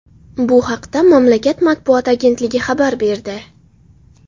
Bu haqda mamlakat matbuot agentligi xabar berdi .